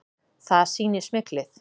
Það sýni smyglið.